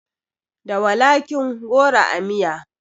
Da walakin goro a miya